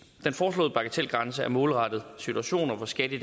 den foreslåede bagatelgrænse er målrettet situationer hvor skat i